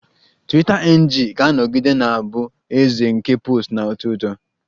Twiita NG ga-anọgide na-abụ eze nke posts na-atọ ụtọ